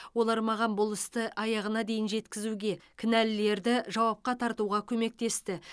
олар маған бұл істі аяғына дейін жеткізуге кінәлілерді жауапқа тартуға көмектесті